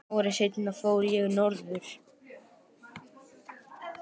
Ári seinna fór ég norður.